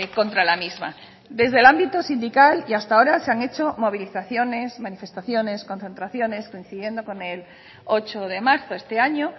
contra la misma desde el ámbito sindical y hasta ahora se han hecho movilizaciones manifestaciones concentraciones coincidiendo con el ocho de marzo este año